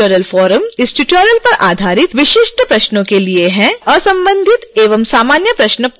कृपया असंबंधित एवं सामान्य प्रश्न पोस्ट न करें इससे अव्यवस्था को कम करने में मदद मिलेगी